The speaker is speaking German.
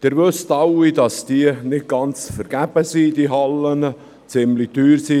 Sie wissen alle, dass diese Hallen nicht ganz umsonst, sondern ziemlich teuer sind.